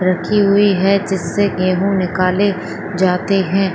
रखी हुई है गेहू जिसे निकले जाते है।